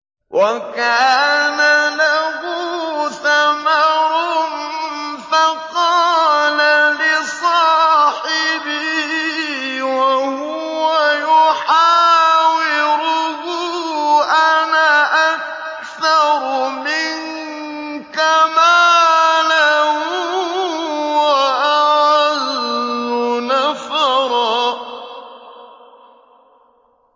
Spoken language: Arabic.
وَكَانَ لَهُ ثَمَرٌ فَقَالَ لِصَاحِبِهِ وَهُوَ يُحَاوِرُهُ أَنَا أَكْثَرُ مِنكَ مَالًا وَأَعَزُّ نَفَرًا